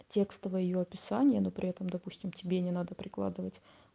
текстовое её описание но при этом допустим тебе не надо прикладывать